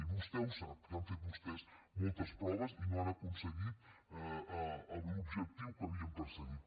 i vostè ho sap que han fet vostès moltes proves i no han aconseguit l’objectiu que havien perseguit